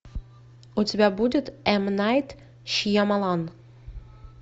у тебя будет м найт шьямалан